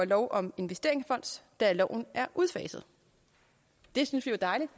lov om investeringsfonds da loven er udfaset det synes vi er dejligt